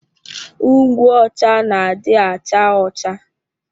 Ngwụ ọcha na adị acha ọcha